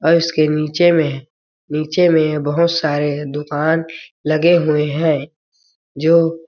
और इसके नीचे में नीचे में बहुत सारे दुकान लगे हुए है जो --